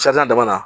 dama na